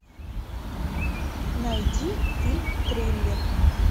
найди фильм триллер